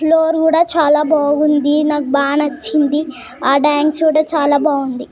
Floor కూడా చాలా బాగుంది నాకు బాగా నచ్చింది ఆ డాన్స్ కూడా చాలా బాగుంది .